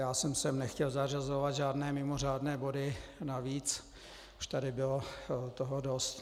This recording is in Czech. Já jsem sem nechtěl zařazovat žádné mimořádné body navíc, už tady bylo toho dost.